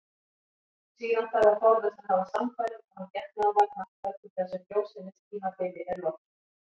Síðan þarf að forðast að hafa samfarir án getnaðarvarna þar til þessu frjósemistímabili er lokið.